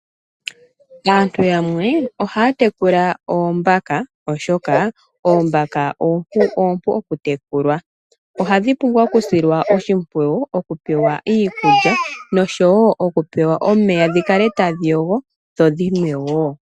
Aantu yamwe ohaya tekula oombaka oshoka oombaka oompu oku tekulwa .ohadhi pumbwa oku silwa oshimaliwa, okupewa iikulya noshowo okupewa omeya dhikale tadhi yogo dho dhinwe woo.